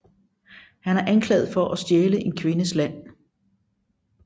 Han er anklaget for at stjæle en kvindes land